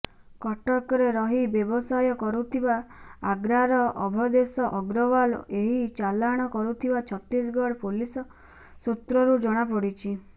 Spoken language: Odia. କଟକରେ ରହି ବ୍ୟବସାୟ କରୁଥିବା ଆଗ୍ରାର ଅଭଦେଶ ଅଗ୍ରଓ୍ବାଲ ଏହି ଚାଲାଣ କରୁଥିବା ଛତିଗଡ ପୋଲିସ ସୁତ୍ରରୁ ଜଣାପଡିଛି